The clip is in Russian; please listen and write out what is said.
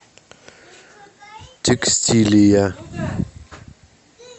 текстилия